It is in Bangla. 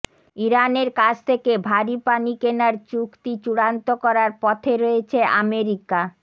ইরানের কাছ থেকে ভারি পানি কেনার চুক্তি চূড়ান্ত করার পথে রয়েছে আমেরিকা